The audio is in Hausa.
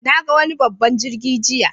Na ga wani babban jirgi jiya.